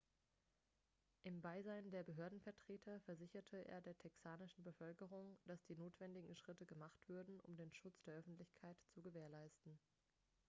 im beisein der behördenvertreter versicherte er der texanischen bevölkerung dass die notwendigen schritte gemacht würden um den schutz der öffentlichkeit zu gewährleisten